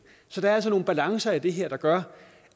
så der er altså nogle balancer i det her der gør